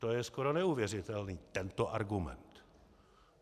To je skoro neuvěřitelný, tento argument.